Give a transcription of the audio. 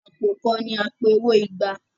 àpò kán ní apẹ owó ìgbà